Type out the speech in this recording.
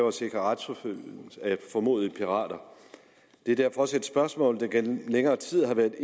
at sikre retsforfølgelse af formodede pirater det er derfor også et spørgsmål der gennem længere tid har været